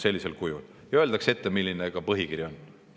" Ja öeldakse ka ette, milline põhikiri on.